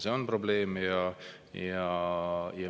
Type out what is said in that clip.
See on probleem!